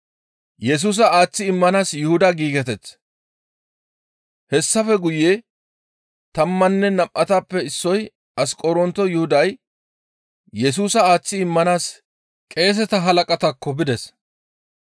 Hessafe guye tammanne nam7atappe issoy Asqoronto Yuhuday Yesusa aaththi immanaas qeeseta halaqataakko bides.